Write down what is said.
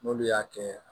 N'olu y'a kɛ